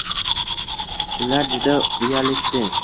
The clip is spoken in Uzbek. “Ular juda uyalishdi.